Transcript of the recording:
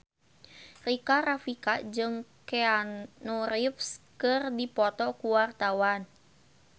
Rika Rafika jeung Keanu Reeves keur dipoto ku wartawan